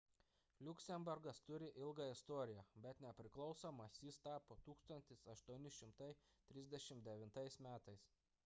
liuksemburgas turi ilgą istoriją bet nepriklausomas jis tapo 1839 m